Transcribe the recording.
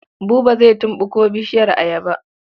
Buba zai tumɓuko bishiyar ayaba.